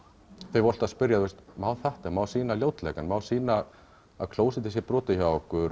þeir voru alltaf að spyrja má þetta má sýna má sýna að klósettið sé brotið hjá okkur